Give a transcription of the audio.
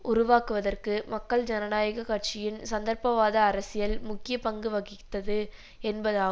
உருவாக்குவதற்கு மக்கள் ஜனநாயக கட்சியின் சந்தர்ப்பவாத அரசியல் முக்கிய பங்கு வகித்தது என்பதா